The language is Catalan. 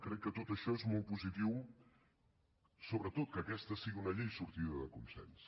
crec que tot això és molt positiu sobretot que aquesta sigui una llei sortida de consens